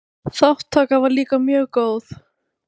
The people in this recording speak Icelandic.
Þátttaka var líka mjög góð.